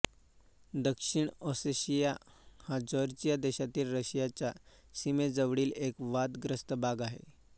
दक्षिण ओसेशिया हा जॉर्जिया देशातील रशियाच्या सीमेजवळील एक वादग्रस्त भाग आहे